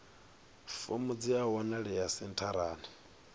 fomo dzi a wanalea sentharani